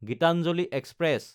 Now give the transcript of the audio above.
Gitanjali express